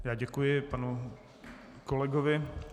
Já děkuji panu kolegovi.